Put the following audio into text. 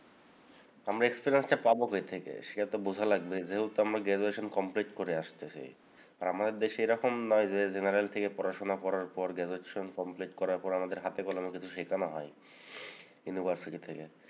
আমরা experience টা পাবো কৈ থেকে? সেটা তো বোঝা লাগবে। যেহেতু আমরা graduation complete করে আসতেসি। আর আমাদের দেশে এরকম নয় যে general থেকে পড়াশোনা করার পর graduation complete করার পর আমাদের হাতে কলমে কিছু শেখানো হয় ইউনিভার্সিটি থেকে।